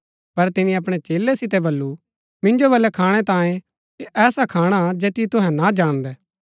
पर तिनी अपणै चेलै सितै बल्लू मिन्जो बलै खाणै तांयें ऐसा खाणा हा जैतियो तुहै ना जाणदै